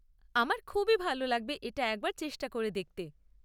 আমার খুবই ভাল লাগবে এটা একবার চেষ্টা করে দেখতে।